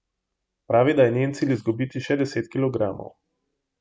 Pravi, da je njen cilj izgubiti še deset kilogramov.